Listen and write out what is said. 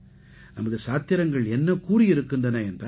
நமது சாத்திரங்கள் என்ன கூறியிருக்கின்றன என்றால்